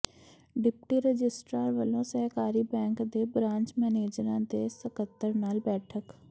deputy registrar ਵਲੋਂ ਸਹਿਕਾਰੀ bank ਦੇ ਬਰਾਂਚ ਮੈਨੇਜਰਾਂ ਤੇ ਸਕੱਤਰਾਂ ਨਾਲ ਬੈਠਕ